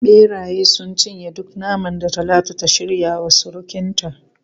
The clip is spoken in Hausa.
Beraye sun cinye duk naman da Talatu ta shirya wa surukinta.